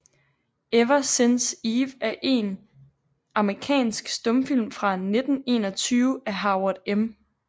Ever Since Eve er en amerikansk stumfilm fra 1921 af Howard M